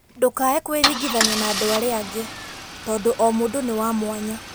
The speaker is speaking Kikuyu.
Ndũkaae kwĩringithania na andũ arĩa angĩ, tondũ o mũndũ nĩ wa mwanya.